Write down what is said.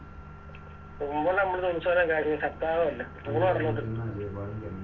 തുമ്പില്ലേ അമ്പലത്തിലെ ഉത്സവൊക്കെ കഴിഞ്ഞു പത്താമുദയാവല്ലേ